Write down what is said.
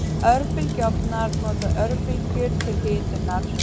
Örbylgjuofnar nota örbylgjur til hitunar.